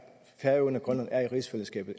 færøerne og grønland er i rigsfællesskabet